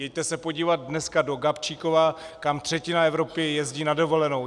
Jeďte se podívat dneska do Gabčíkova, kam třetina Evropy jezdí na dovolenou.